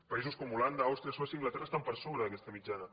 països com holanda àustria suècia i anglaterra estan per sobre d’aquesta mitjana